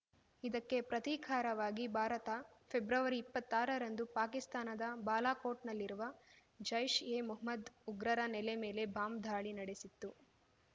ಇದಕ್ಕೆ ಪ್ರತೀಕಾರವಾಗಿ ಭಾರತ ಫೆಬ್ರವರಿ ಇಪ್ಪತ್ತಾರ ರಂದು ಪಾಕಿಸ್ತಾನದ ಬಾಲಾಕೋಟ್‌ನಲ್ಲಿರುವ ಜೈಶ್ಎ ಮೊಹ್ಮದ್ ಉಗ್ರರ ನೆಲೆ ಮೇಲೆ ಬಾಂಬ್ ದಾಳಿ ನಡೆಸಿತ್ತು